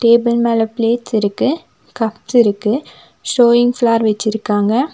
Table மேல plates இருக்கு cups இருக்கு ஷோயிங் ஃப்லார் வச்சிருக்காங்க.